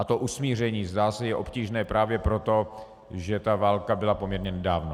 A to usmíření, zdá se, je obtížné právě proto, že ta válka byla poměrně nedávno.